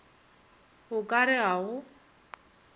go ka re ga go